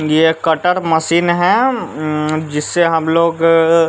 यह cutter machine है अं जिससे हम लोग--